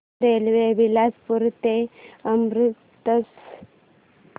railway Bilaspur ते अमृतसर